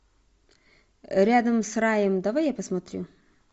рядом с раем давай я посмотрю